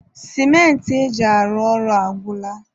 sịmentị e ji arụ ọrụ agwụla.